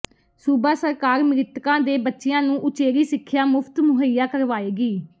ਸੂਬਾ ਸਰਕਾਰ ਮ੍ਰਿਤਕਾਂ ਦੇ ਬੱਚਿਆਂ ਨੂੰ ਉਚੇਰੀ ਸਿੱਖਿਆ ਮੁਫ਼ਤ ਮੁਹੱਈਆ ਕਰਵਾਏਗੀ